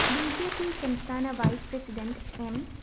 B J P സംസ്ഥാന vice president M